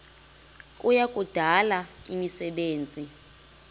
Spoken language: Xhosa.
kuya kudala imisebenzi